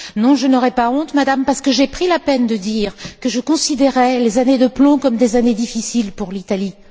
Non, je n'ai pas honte, Madame, parce que j'ai pris la peine de dire que je considérais les années de plomb comme des années difficiles pour l'Italie.